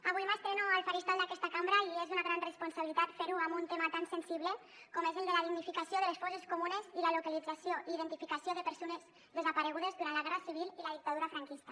avui m’estreno al faristol d’aquesta cambra i és una gran responsabilitat fer ho amb un tema tan sensible com és el de la dignificació de les fosses comunes i la localització i identificació de persones desaparegudes durant la guerra civil i la dictadura franquista